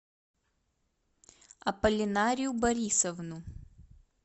апполинарию борисовну